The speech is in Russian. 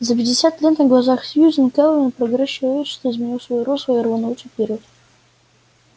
за пятьдесят лет на глазах сьюзен кэлвин прогресс человечества изменил своё русло и рванулся вперёд